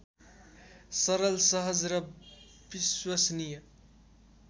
सरल सहज र विश्वसनीय